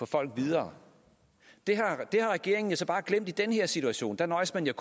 folk videre det har regeringen så bare glemt i den her situation der nøjes man jo